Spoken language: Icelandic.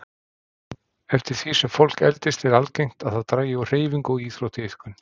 Eftir því sem fólk eldist er algengt að það dragi úr hreyfingu og íþróttaiðkun.